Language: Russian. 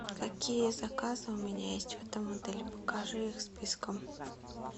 какие заказы у меня есть в этом отеле покажи их списком